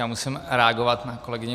Já musím reagovat na kolegyni